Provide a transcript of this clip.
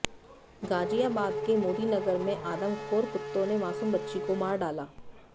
गाजियाबाद के मोदीनगर में आदमखोर कुत्तों ने मासूम बच्ची को मार डाला